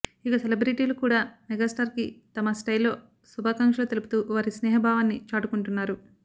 ఇక సెలబ్రెటీలు కూడా మెగాస్టార్ కి తమ స్టైల్ లో శుభాకాంక్షలు తెలుపుతూ వారి స్నేహ భావాన్ని చాటుకుంటున్నారు